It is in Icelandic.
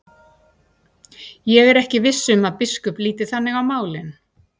Ég er ekki viss um að biskup líti þannig á málin.